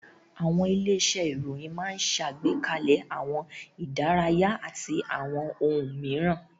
Àwọn ilé-iṣẹ́ ìròyìn máa ń ṣẹ̀gbékalẹ̀ àwọn ìdárayá àti àwọn ohun mìíràn.